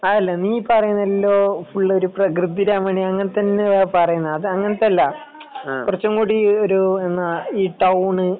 അതല്ല നീ പറയുന്നത് എല്ലോ ഫുൾ ഒരു പ്രകൃതി രമണീയ അങ്ങനെതന്നെ അല്ലെ പറയുന്നത് അങ്ങനത്തെ അല്ല കുറച്ചും കൂടി ഇങ്ങനത്തെ ഈ ടൗണ്